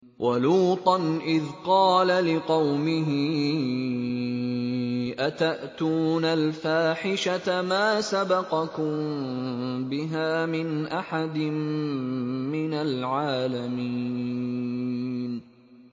وَلُوطًا إِذْ قَالَ لِقَوْمِهِ أَتَأْتُونَ الْفَاحِشَةَ مَا سَبَقَكُم بِهَا مِنْ أَحَدٍ مِّنَ الْعَالَمِينَ